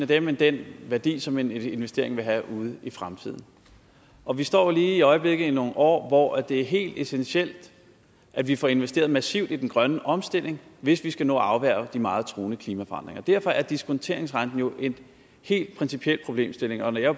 den den værdi som en investering vil have ude i fremtiden og vi står lige i øjeblikket i nogle år hvor det er helt essentielt at vi får investeret massivt i den grønne omstilling hvis vi skal nå at afværge de meget truende klimaforandringer derfor er diskonteringsrenten jo en helt principiel problemstilling og jeg